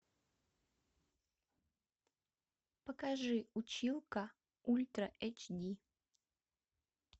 покажи училка ультра эйч ди